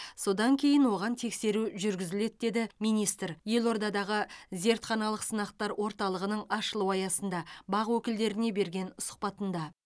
содан кейін оған тексеру жүргізіледі деді министр елордадағы зертханалық сынақтар орталығының ашылу аясында бақ өкілдеріне берген сұхбатында